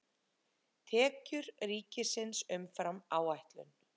Tekjur ríkisins umfram áætlun